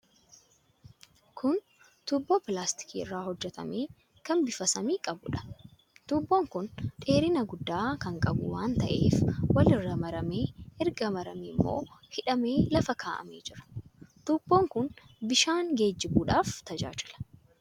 Kun tuubboo pilaastikii irraa hojjetame kan bifa samii qabuudha. Tuubbuun kun dheerina guddaa kan qabu waan ta'ee walirra maramee, erga maramee immoo hidhamee lafa kaa'amee jira. Tuubboon kun bishaan geejjibuuf tajaajila.